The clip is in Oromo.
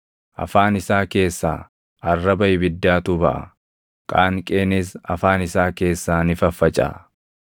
Afaan isaa keessaa arraba ibiddaatu baʼa; qaanqeenis afaan isaa keessaa ni faffacaʼa.